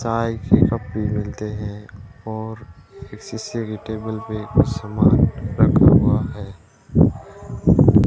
चाय के कप भी मिलते हैं और शीशे की टेबल पे कुछ सामान रखा हुआ है।